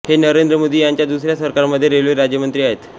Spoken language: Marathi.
हे नरेंद्र मोदी यांच्या दुसऱ्या सरकारमध्ये रेल्वे राज्यमंत्री आहेत